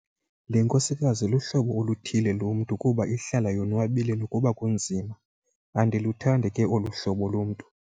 Le nkosikazi luhlobo oluthile lomntu kuba ihlala yonwabile nokuba kunzima. andiluthandi ke olu hlobo lomntu